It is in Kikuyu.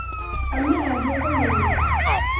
Mami athie kũũ ningĩ